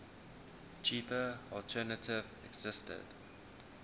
cheaper alternative existed